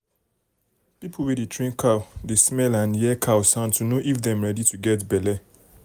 people wey dey train cow dey smell and hear cow sound to know if dem ready to get belle.